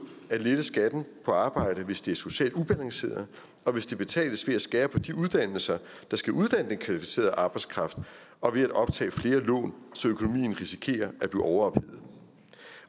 at lette skatten på arbejde hvis det ikke er socialt afbalanceret og hvis det betales ved at skære på de uddannelser der skal uddanne den kvalificerede arbejdskraft og ved at optage flere lån så økonomien risikerer at blive overophedet